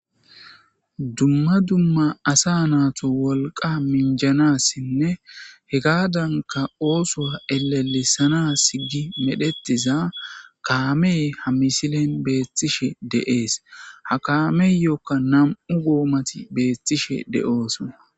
dumma dumma asa natu wolqa minjanassinne hegaadanka oosoa elalisanas gi medhetiza kaamee ha misilen beettishe de'ees ha kameyokka nam'u goomati beethtishe de'oosona